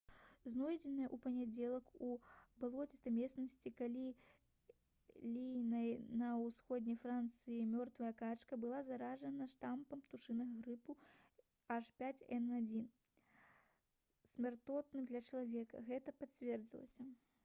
знойдзеная ў панядзелак у балоцістай мясцовасці калі ліёна ва ўсходняй францыі мёртвая качка была заражана штамам птушынага грыпу h5n1 смяротным для чалавека — гэта пацвердзілася